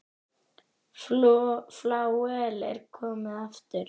Flauel er komið aftur.